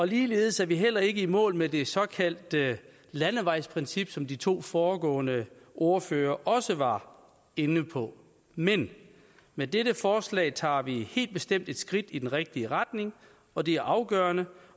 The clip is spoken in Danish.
ligeledes er vi heller ikke i mål med det såkaldte landevejsprincip som de to foregående ordførere også var inde på men med dette forslag tager vi helt bestemt et skridt i den rigtige retning og det er afgørende